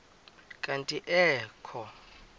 kanti ee kho